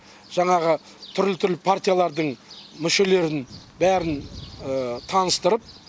жаңағы түрлі түрлі партиялардың мүшелерін бәрін таныстырып